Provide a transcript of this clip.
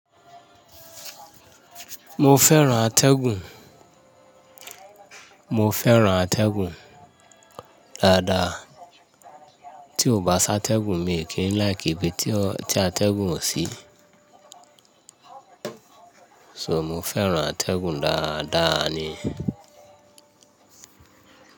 Mo fẹ́ràn atẹ́gùn, mo fẹ́ràn atẹ́gùn dáadáa. Tí o bá sátẹ́gùn mi n kí n like ibi tí atẹ́gùn o sì. So mo fẹ́ràn atẹ́gùn dáadáa ni.